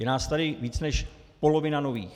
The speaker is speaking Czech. Je nás tady víc než polovina nových.